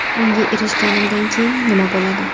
Unga erishganimdan keyin nima bo‘ladi?